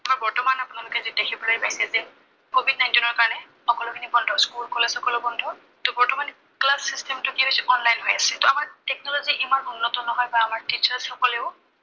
বৰ্তমান আপোনালোকে যি দেখিবলৈ পাইছে যে কভিড নাইনটিনৰ কাৰনে, সকলোখিনি বন্ধ, school college সকলো বন্ধ, ত বৰ্তমান class system টো কি হৈছে, online হৈ আছে, ত আমাৰ technology ইমান উন্নত নহয়, বা আমাৰ teachers সকলেও